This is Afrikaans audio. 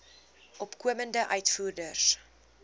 opkomende uitvoerders